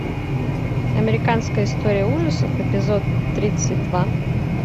американская история ужасов эпизод тридцать два